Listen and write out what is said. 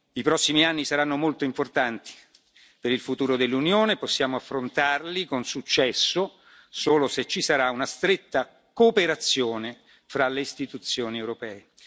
I prossimi anni saranno molto importanti per il futuro dell'Unione, possiamo affrontarli con successo solo se ci sarà una stretta cooperazione tra le Istituzioni europee.